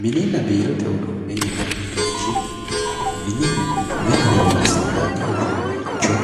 Mininna biirote uduunichi ,minihu mine horonsi'nanni uduunicho